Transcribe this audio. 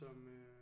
Som øh